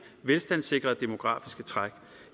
velstandssikrede demografiske træk